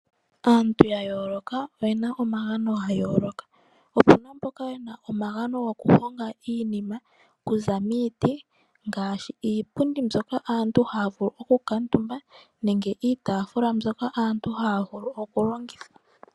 Aantu yayooloka oyena omagano gayooloka. Opuna mboka yena omagano gokuhonga iinima okuza miiti, ngaashi iipundi mbyoka aantu haya vulu oku kuutumba nenge iitaafula mbyoka aantu haya vulu okulongitha.